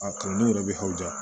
A kanu yɛrɛ bɛ aw ja